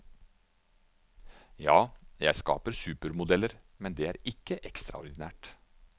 Ja, jeg skaper supermodeller, men det er ikke ekstraordinært.